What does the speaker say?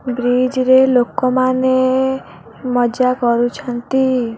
Bridge ରେ ଲୋକମାନେ ମଜା କରୁଛନ୍ତି।